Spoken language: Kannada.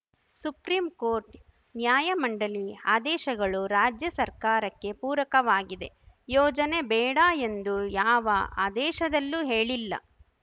ಸುಪ್ರೀ ಕೋರ್ಟ್‌ ನ್ಯಾಯ ಮಂಡಳಿ ಆದೇಶಗಳು ರಾಜ್ಯ ಸರ್ಕಾರಕ್ಕೆ ಪೂರಕವಾಗಿದೆ ಯೋಜನೆ ಬೇಡ ಎಂದು ಯಾವ ಆದೇಶದಲ್ಲೂ ಹೇಳಿಲ್ಲ